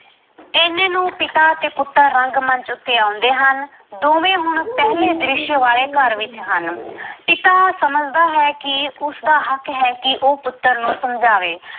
ਇਹਨੇਂ ਨੂੰ ਪਿਤਾ ਅਤੇ ਪੁੱਤਰ ਰੰਗ- ਮੰਚ ਉੱਤੇ ਆਉਂਦੇ ਹਨ ਦੋਵੇਂ ਹੁਣ ਪਹਿਲੇ ਦ੍ਰਿਸ਼ ਵਾਲੇ ਘਰ ਵਿੱਚ ਹਨ l ਪਿਤਾ ਸਮਝਦਾ ਹੈ ਕਿ ਉਸਦਾ ਹੱਕ ਹੈ ਕਿ ਉਹ ਪੁੱਤਰ ਨੂੰ ਸਮਝਾਵੇ।